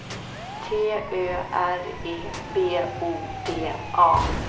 T Ö R E B O D A